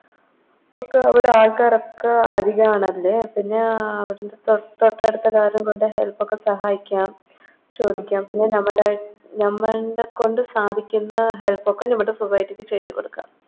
ഒക്കേ അവിടെ ആൾക്കാരൊക്കെ അധികാണാല്ലോ പിന്നെ അഹ് അവ് ട് തൊട്ടടുത്ത Help ഒക്കെ സഹായിക്കാം ചോദിക്കാം പിന്നെ നമ്മുടെ നമ്മളിൻറെ കൊണ്ട് സാധിക്കുന്ന Help ഒക്കെ നമ്മുടെ Society ക്ക് ചെയ്ത കൊടുക്കാം